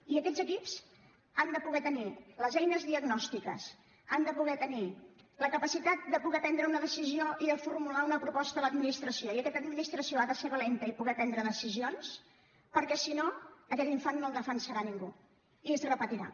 i aquests equips han de poder tenir les eines diagnòstiques han de poder tenir la capacitat de poder prendre una decisió i de formular una proposta a l’administració i aquesta administració ha de ser valenta i poder prendre decisions perquè si no aquest infant no el defensarà ningú i es repetirà